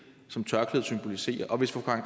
som tørklædet symboliserer hvis fru karen